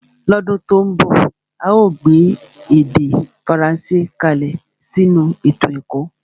lọ́dún tó ń bọ̀ a óò gbé èdè Faransé kalẹ̀ sínú ètò ẹ̀kọ́